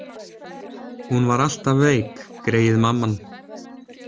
Hún var alltaf veik, greyið, mamman.